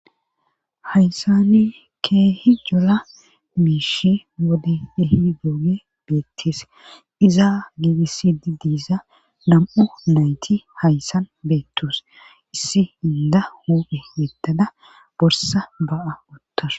haysani keehi cola miishi wode ehidooge beettees iza giigisidi diiza nam'u nayti hayssan beettus issi inda huuphe yeddada borsa ba'a uttasu